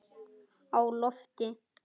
Á lofti